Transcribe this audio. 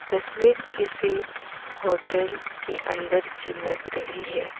तस्वीर किसी होटल के अंदर की लग रही है।